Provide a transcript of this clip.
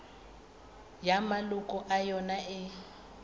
ya maloko a yona e